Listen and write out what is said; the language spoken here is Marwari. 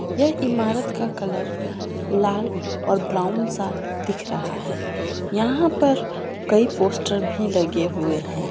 यह इमारत का कलर लाल और ब्राउन सा दिख रहा है यहां पर कई पोस्टर भी लगे हुए हैं।